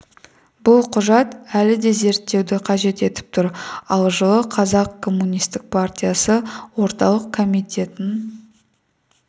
бұл құжат әлі де зерттеуді қажет етіп тұр ал жылы қазақ коммунистік партиясы орталық комитетінің